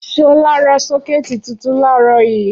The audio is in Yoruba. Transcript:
Ṣọlá ra sọ́kẹ́tì tuntun láàárọ̀ yìí.